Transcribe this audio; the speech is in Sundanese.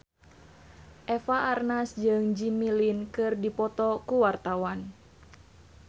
Eva Arnaz jeung Jimmy Lin keur dipoto ku wartawan